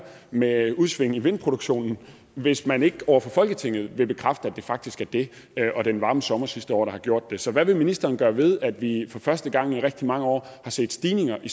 med udsving i vindproduktionen hvis man ikke over for folketinget vil bekræfte at det faktisk er det og den varme sommer sidste år der har gjort det så hvad vil ministeren gøre ved at vi for første gang i rigtig mange år har set stigninger i